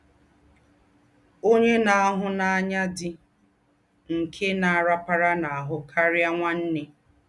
“Ọ̀nyè nà-àhù́ n’ànyá dí́ nké nà-arapara n’ahụ́ karịa nwanne.